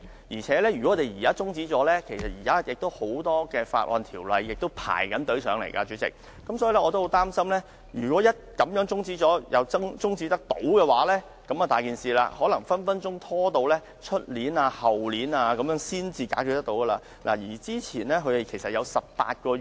而且，如果中止決議案，鑒於現時已有很多法案正輪候審議，主席，我十分擔心如果這樣中止討論，而中止待續議案又獲得通過，那問題可大了，這項《修訂令》可能隨時會拖至明年、後年才能解決。